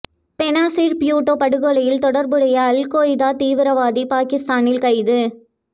பெனாசிர் பூட்டோ படுகொலையில் தொடர்புடைய Al Qaeda தீவிரவாதி பாகிஸ்தானில் கைது